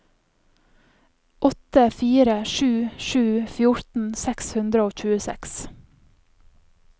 åtte fire sju sju fjorten seks hundre og tjueseks